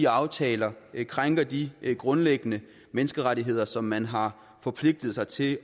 aftaler krænker de grundlæggende menneskerettigheder som man har forpligtet sig til